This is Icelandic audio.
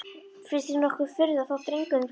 Finnst þér nokkur furða þótt drengurinn flýi?